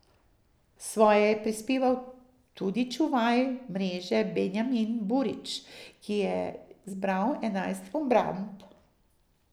Svoje je prispeval tudi čuvaj mreže Benjamin Burić, ki je zbral enajst obramb.